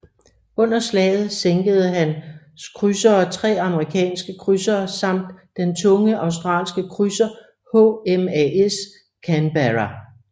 Under slaget sænkede hans krydsere tre amerikanske krydsere samt den tunge australske krydser HMAS Canberra